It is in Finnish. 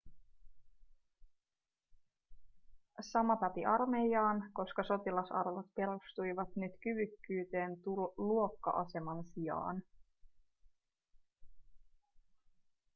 sama päti armeijaan koska sotilasarvot perustuivat nyt kyvykkyyteen luokka-aseman sijaan